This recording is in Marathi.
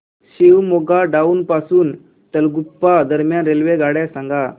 शिवमोग्गा टाउन पासून तलगुप्पा दरम्यान रेल्वेगाड्या सांगा